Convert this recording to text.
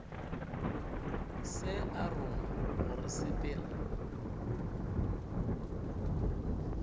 se a rongwa gore sepela